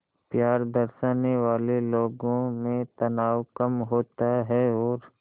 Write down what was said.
प्यार दर्शाने वाले लोगों में तनाव कम होता है और